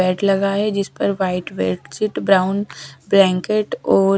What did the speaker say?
bed लगा है जिस पर व्हाइट बेडशीट ब्राउन ब्लैंकेट और--